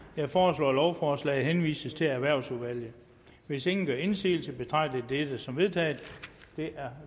jeg foreslår at lovforslaget henvises til erhvervsudvalget hvis ingen gør indsigelse betragter jeg dette som vedtaget det er